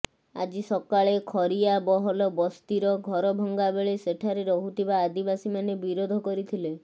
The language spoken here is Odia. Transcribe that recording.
ଆଜି ସକାଳେ ଖରିଆବହଲ ବସ୍ତିର ଘରଭଙ୍ଗା ବେଳେ ସେଠାରେ ରହୁଥିବା ଆଦିବାସୀମାନେ ବିରୋଧ କରିଥିଲେ